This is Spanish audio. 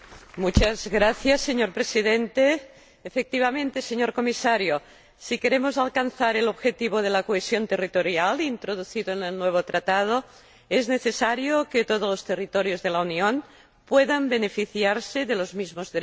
Señor Presidente, señor Comisario, efectivamente, si queremos alcanzar el objetivo de la cohesión territorial, introducido en el nuevo Tratado, es necesario que todos los territorios de la Unión puedan beneficiarse de los mismos derechos y libertades.